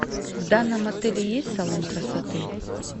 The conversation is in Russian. в данном отеле есть салон красоты